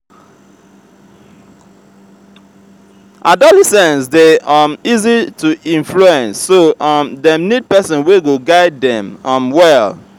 adolescents de um easy to influence so um dem need persin wey go guide dem um well